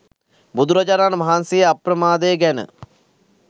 බුදුරජාණන් වහන්සේ අප්‍රමාදය ගැන